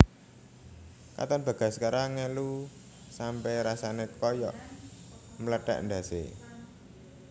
Katon Bagaskara ngelu sampe rasane koyok mlethek ndhas e